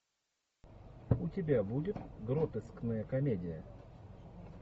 у тебя будет гротескная комедия